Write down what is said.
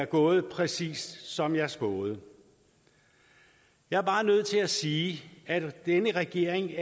gået præcis som jeg spåede jeg er bare nødt til at sige at denne regering